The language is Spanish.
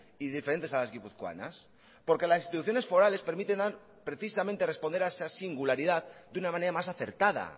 y diferentes a las guipuzcoanas porque las instituciones forales permiten precisamente responder a esa singularidad de una manera más acertada